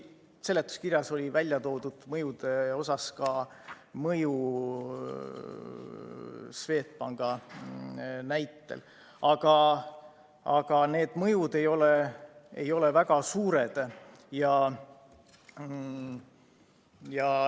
Siin seletuskirjas oli mõjude osas välja toodud mõju Swedbanki näitel, need mõjud ei ole väga suured.